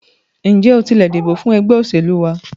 Ǹjẹ́ o tilẹ̀ dìbò fún ẹgbẹ́ òṣèlú wa?